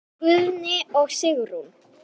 Guðni og Sigrún.